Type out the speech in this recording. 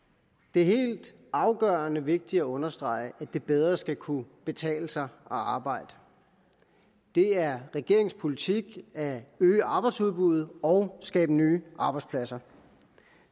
det er helt afgørende vigtigt at understrege at det bedre skal kunne betale sig at arbejde det er regeringens politik at øge arbejdsudbuddet og skabe nye arbejdspladser